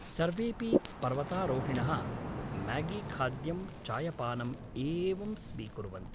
सर्वेपि पर्वतारोहिणः म्यागीखाद्यं चायपानम् एवं स्वीकुर्वन्ति।